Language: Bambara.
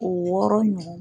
Wɔɔrɔ ɲɔgɔn.